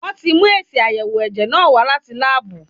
Wọ́n ti mú èsì àyẹ̀wò ẹ̀jẹ̀ náà wá láti láàbù.